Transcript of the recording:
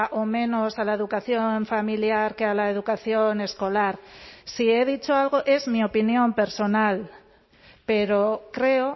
o menos a la educación familiar que a la educación escolar si he dicho algo es mi opinión personal pero creo